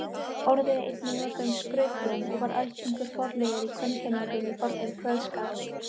Orðið er einnig notað um skrautblóm og var algengur forliður í kvenkenningum í fornum kveðskap.